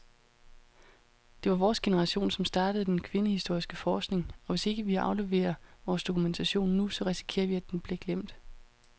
Det var vores generation, som startede den kvindehistoriske forskning, og hvis ikke vi afleverer vores dokumentation nu, så risikerer vi, at den bliver glemt.